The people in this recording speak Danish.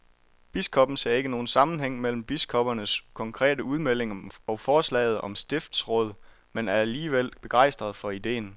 Biskoppen ser ikke nogen sammenhæng mellem biskoppernes konkrete udmelding og forslaget om stiftsråd, men er alligevel begejstret for ideen.